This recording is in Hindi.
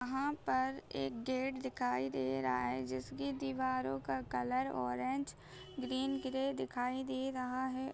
वहाँ पर एक गेट दिखाई दे रहा है जिसकी दीवारों का कलर ऑरेंज ग्रीन ग्रे दिखाई दे रहा है।